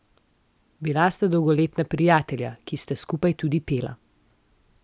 Bila sta dolgoletna prijatelja, ki sta skupaj tudi pela.